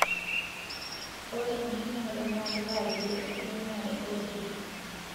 Ore enkiremore naa kitaa kiti enkitumiare oo irkeek